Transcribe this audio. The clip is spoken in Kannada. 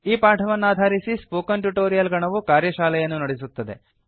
ಈ ಪಾಠವನ್ನಾಧಾರಿಸಿ ಸ್ಪೋಕನ್ ಟ್ಯುಟೊರಿಯಲ್ ಗಣವು ಕಾರ್ಯಶಾಲೆಯನ್ನು ನಡೆಸುತ್ತದೆ